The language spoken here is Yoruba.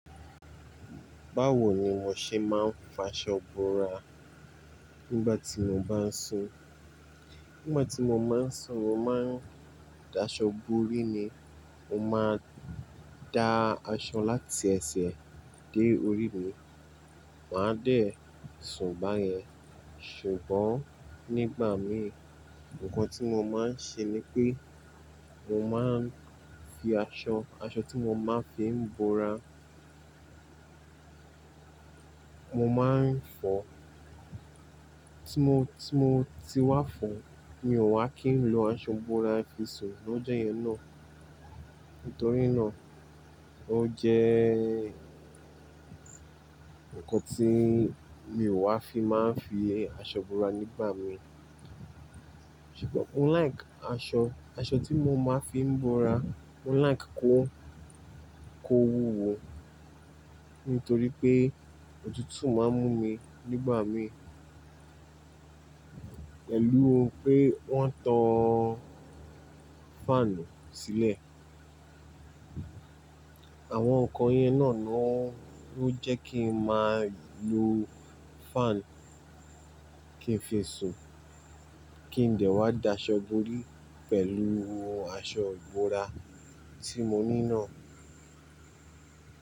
Báwo ni mo ṣe máa ń fọ aṣọ bora nígbà tí mo bá ń sùn? Nígbà tí mo má ń sùn, mo má ń da aṣọ bórí ni. Mo máa ń da aṣọ láti ẹsẹ̀ dé orí mi, màá dẹ̀ sùn báyẹn. Ṣùgbọ́n nígbà mí, nǹkan tí mo máa ń ṣe ni pé mo máa ń fi aṣọ, aṣọ tí mo máa ń fi bora, mo máa ń fọ. Tí mo, tí mo ti wá fọ́, mi ò wá kí ń lo aṣọ bora fi sùn lọ́jọ́ yẹn náà. Nítorí náà, ó jẹ́ nǹkan tí mi ò wá fi máa ń fi aṣọ búra nígbà mí. Ṣùgbọ́n I like aṣọ, aṣọ tí mo máa ń fi búra, I like kó, kó wúwo. Nítorí pé òtútù máa ń mú mi nígbà mí. Pẹ̀lú pé wọ́n tan fáànù sílẹ̀. Àwọn nǹkan yẹn náà ló jẹ́ kí n máa lo fáànù kí n fi sùn, kí n dẹ̀ wá da aṣọ bórí pẹ̀lú aṣọ bora tí mo ní náà.